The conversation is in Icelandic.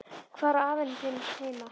Hvar á hann afi þinn heima?